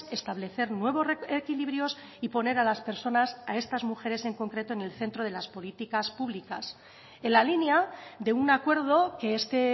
establecer nuevos equilibrios y poner a las personas a estas mujeres en concreto en el centro de las políticas públicas en la línea de un acuerdo que este